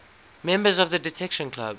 members of the detection club